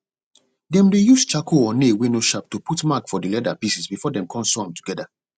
dem dey use charcoal or nail wey no sharp to put mark for di leather pieces before dem con sew am together